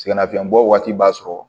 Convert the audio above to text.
Sɛgɛnnafiɲɛbɔ waati b'a sɔrɔ